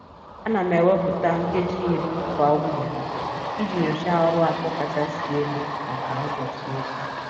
A na m ewepụta nkeji iri kwa mgbede iji nyochaa ọrụ atọ kachasị elu maka ụbọchị echi.